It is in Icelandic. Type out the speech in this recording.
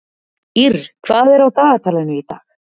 Ýrr, hvað er á dagatalinu í dag?